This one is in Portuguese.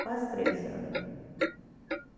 Quase três anos.